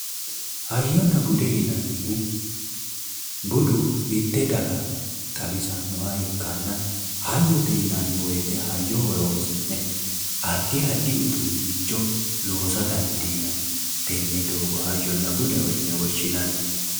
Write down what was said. Hayyonna bude yinnannihu, budu mite daga xawisanoha ikkanna ,hayyote yinnanni woyte hayyo horonsi'ne addi addi uduunicho loosa dandiinnani tene doogo hayyonna budeho yinne woshshinanni